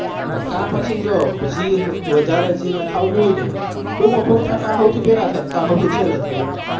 કાં પસી વધરે નાખવું હોય તો પરોઠા કાં પેલા થાય કે છેલ્લે થાય